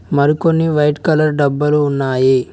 మరికొన్ని white colour డబ్బలు ఉన్నాయి.